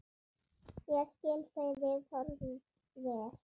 Ég skil þau viðhorf vel.